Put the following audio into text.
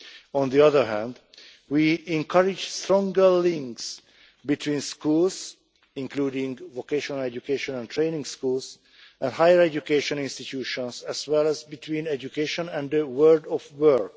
On the other hand, we encourage stronger links between schools, including vocational education and training schools and higher education institutions, as well as between education and the world of work.